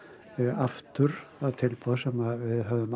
aftur það tilboð sem við höfðum